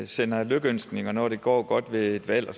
sender lykønskninger når det går godt ved et valg og